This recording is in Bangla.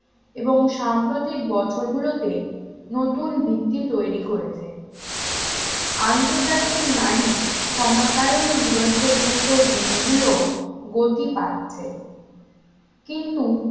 এবং সাম্প্রতিক বছরগুলোতে নতুন ভিত্তি তৈরি করেছে আন্তর্জাতিক নারী ক্ষমতায়ন দিবসের মতো দিনগুলো গতি পাচ্ছে কিন্তু